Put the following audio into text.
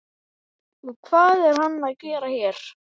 Og hvað er hann að gera hér?